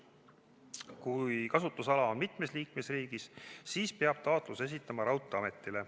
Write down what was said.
Kui kasutusala on mitmes liikmesriigis, siis peab taotluse esitama raudteeametile.